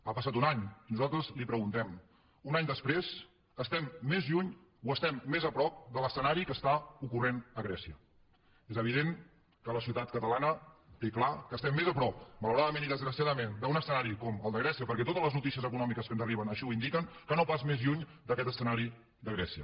ha passat un any i nosaltres li preguntem un any després estem més lluny o estem més a prop de l’escenari que està ocorrent a grècia és evident que la societat catalana té clar que estem més a prop malauradament i desgraciadament d’un escenari com el de grècia perquè totes les notícies econòmiques que ens arriben així ho indiquen que no pas més lluny d’aquest escenari de grècia